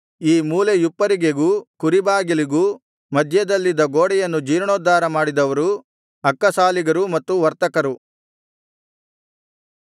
ಈ ಮೂಲೆಯುಪ್ಪರಿಗೆಗೂ ಕುರಿಬಾಗಿಲಿಗೂ ಮಧ್ಯದಲ್ಲಿದ್ದ ಗೋಡೆಯನ್ನು ಜೀರ್ಣೋದ್ಧಾರ ಮಾಡಿದವರು ಅಕ್ಕಸಾಲಿಗರು ಮತ್ತು ವರ್ತಕರು